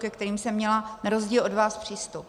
ke kterým jsem měla na rozdíl od vás přístup.